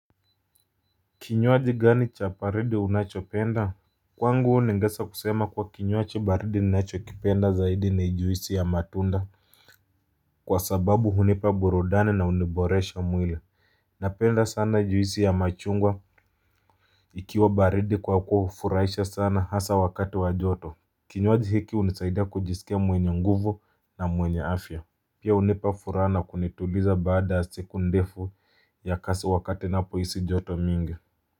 Kinywaji gani cha baridi unachopenda. Kwangu ningeweza kusema kuwa kinywaji baridi ninachokipenda zaidi ni juisi ya matunda. Kwa sababu hunipa burudani na huniboresha mwili. Napenda sana juisi ya machungwa ikiwa baridi kwa kuwa hufuraisha sana hasa wakati wa joto. Kinywaji hiki hunisaida kujisikia mwenye nguvu na mwenye afya. Pia hunipa furaha na kunituliza baada siku ndefu ya kazi wakati ninaapo hisi joto mingi.